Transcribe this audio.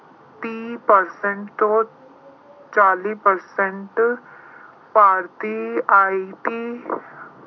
ਤੀਹ percent ਤੋਂ ਚਾਲੀ percent ਭਾਰਤੀ IT